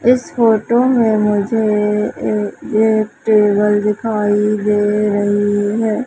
इस फोटो मे मुझे ए एक टेबल दिखाई दे रही है।